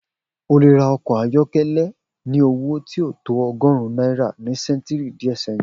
O lè ra ọkọ̀ ayọ́kọ́lẹ́ ní owó tí kò tó ọgọ́rùn náírà ni ṣẹ́ntìrì díẹ̀ sẹ́hìn